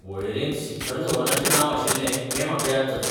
वळेरेंत शिखर धवनाचे नांव आशिल्लें हे म्हाका याद जाता.